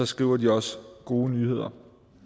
skriver den også gode nyheder